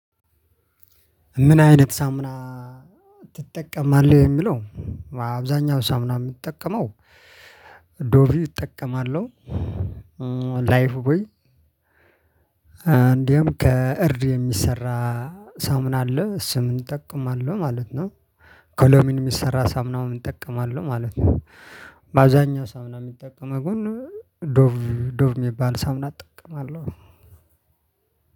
ምን አይነት ሳሙና ትጠቀማለህ የሚለው? አብዛኛው ሳሙና የሚጠቀመው ዶቪ እጠቀማለሁ። ላይፍ ቦይ። ከእርድ የሚሰራ ሳሙና አለ እሱንም እጠቀማለሁ ማለት ነው። ከሎሚን የሚሰራ ሳሙና እጠቀማለሁ ማለት ነው። በአብዛኛው ሳሙና የሚጠቀመው ግን ዶቭ የሚባል ሳሙና አጠቀምቃለሁ።